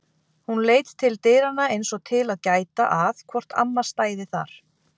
Hún leit til dyranna eins og til að gæta að hvort amma stæði þar.